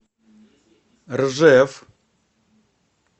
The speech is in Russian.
ржев